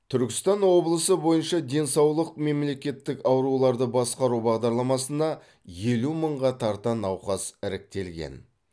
түркістан облысы бойынша денсаулық мемлекеттік ауруларды басқару бағдарламасына елу мыңға тарта науқас іріктелген